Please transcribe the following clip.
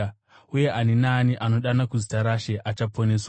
Uye ani naani anodana kuzita raShe achaponeswa.’